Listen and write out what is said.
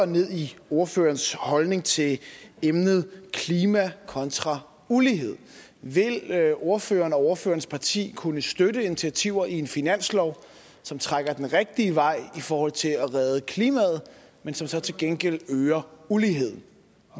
ned i ordførerens holdning til emnet klima kontra ulighed vil ordføreren og ordførerens parti kunne støtte initiativer i en finanslov som trækker den rigtige vej i forhold til at redde klimaet men som så til gengæld øger uligheden